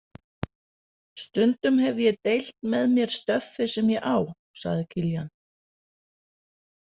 Stundum hef ég deilt með mér stöffi sem ég á, sagði Kiljan.